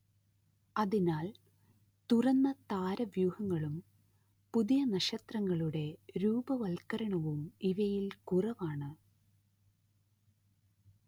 അതിനാൽ തുറന്ന താരവ്യൂഹങ്ങളും പുതിയ നക്ഷത്രങ്ങളുടെ രൂപവത്കരണവും ഇവയിൽ കുറവാണ്